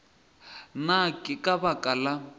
na ke ka baka la